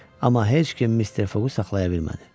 Amma heç kim Mister Foqu saxlaya bilmədi.